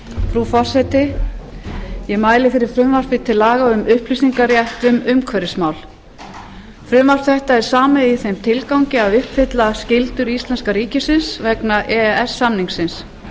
frú forseti ég mæli fyrir frumvarpi til laga um upplýsingarétt um umhverfismál frumvarp þetta er samið í þeim tilgangi að uppfylla skyldur íslenska ríkisins vegna e e s samningsins